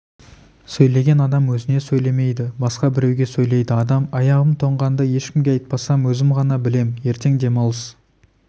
сөйлеген адам өзіне сөйлемейді басқа біреуге сөйлейді аяғым тоңғанды ешкімге айтпасам өзім ғана білем ертең демалыс